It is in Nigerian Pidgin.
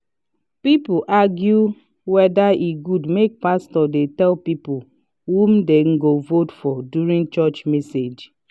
people argue weda e good make pastor dey tell people who them go vote for during church message.